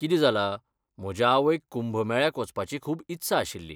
कितें जालां, म्हजे आवयक कुंभ मेळ्याक वचपाची खूब इत्सा आशिल्ली.